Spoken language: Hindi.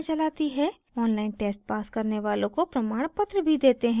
online test pass करने वालों को प्रमाणपत्र भी देते हैं